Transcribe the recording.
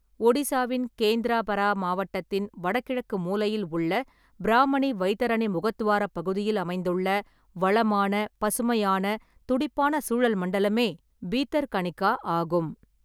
ஒடிசாவின் கேந்திராபரா மாவட்டத்தின் வடகிழக்கு மூலையில் உள்ள பிராம்மணி-வைதரணி முகத்துவாரப் பகுதியில் அமைந்துள்ள வளமான, பசுமையான, துடிப்பான சூழல் மண்டலமே பீதர்கனிகா ஆகும்.